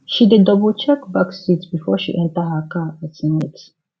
she dey double check back seat before she enter her car at night